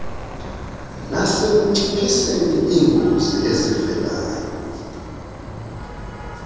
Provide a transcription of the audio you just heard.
nasekunciphiseni iingozi ezivelayo